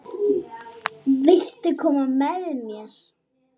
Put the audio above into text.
Viltu koma með mér?